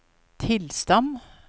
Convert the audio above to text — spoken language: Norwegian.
tilstand